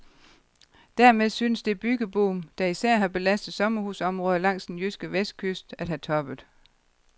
Dermed synes det byggeboom, der især har belastet sommerhusområder langs den jyske vestkyst, at have toppet.